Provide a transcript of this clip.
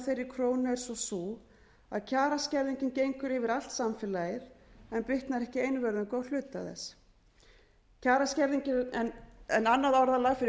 þeirri krónu er svo sú að kjaraskerðingin gengur yfir allt samfélagið en bitnar ekki einvörðungu á hluta þess kjaraskerðingin er annað orðalag fyrir